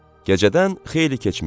Gecədən xeyli keçmişdi.